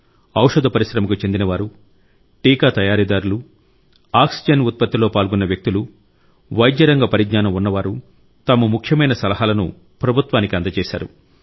ఔషధ పరిశ్రమకు చెందినవారు టీకా తయారీదారులు ఆక్సిజన్ ఉత్పత్తిలో పాల్గొన్న వ్యక్తులు వైద్య రంగ పరిజ్ఞానం ఉన్నవారు తమ ముఖ్యమైన సలహాలను ప్రభుత్వానికి అందజేశారు